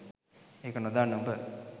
ඒක නොදන්න උඹ